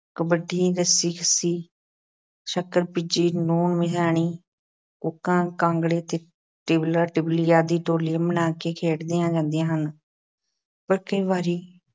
ਕਬੱਡੀ, ਰੱਸਾ-ਕਸ਼ੀ, ਸੱਕਰ-ਭਿੱਜੀ, ਲੂਣ-ਮਿਆਣੀ, ਕੂਕਾਂ-ਕਾਂਗੜੇ ਤੇ ਟਿ ਟਿਬਲਾ-ਟਿਬਲੀ ਆਦਿ ਟੋਲੀਆਂ ਬਣਾ ਕੇ ਖੇਡਦੀਆਂ ਜਾਂਦੀਆਂ ਹਨ। ਪਰ ਕਈ ਵਾਰੀ